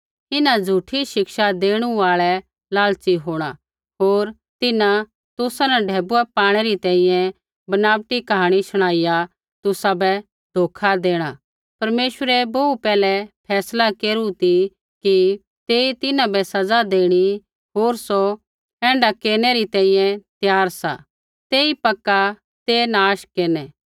इन्हां झ़ूठी शिक्षा देणु आल़ै लालची होंणा होर तिन्हां तुसा न ढैबुऐ पाणै री तैंईंयैं बनावटी कहाणी शुणाइया तुसाबै धोखा देणा परमेश्वरै बोहू पैहलै फैसला केरू ती कि तेई तिन्हां बै सज़ा देणी होर सौ ऐण्ढा केरनै री तैंईंयैं त्यार सा तेई पक्का ते नाश केरनै